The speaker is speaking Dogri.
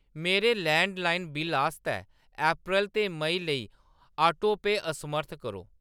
मेरे लैंडलाइन बिल्ल आस्तै अप्रैल ते मेई लेई ऑटोपे असमर्थ करो।